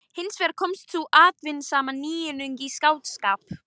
Hins vegar kom sú afturhaldssama nýjung í skáldskap